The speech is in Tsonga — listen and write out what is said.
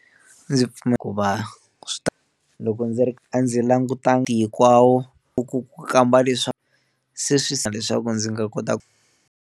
Ndzi pfumela ku va swi ta loko ndzi ri a ndzi langutangi hinkwawo ku ku kamba leswa se swi leswaku ndzi nga kota ku.